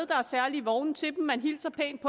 der er særlige vogne til dem man hilser pænt